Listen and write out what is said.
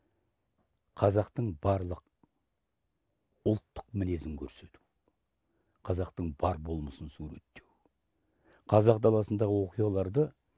қазақтың барлық ұлттық мінезін көрсету қазақтың бар болмысын суреттеу қазақ даласындағы оқиғаларды